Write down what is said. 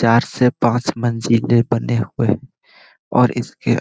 चार‌ से पांच मंजिले बने हुए और इसके